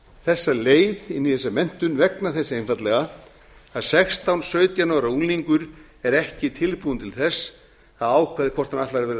þessa leið inn í þessa menntun vegna þess einfaldlega að sextán til sautján ára unglingur er ekki tilbúinn til þess að ákveða hvort hann ætli að verða